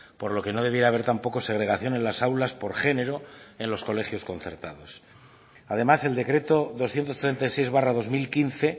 por lo que no debiera haber tampoco segregación en las aulas por género en los colegios concertados además el decreto doscientos treinta y seis barra dos mil quince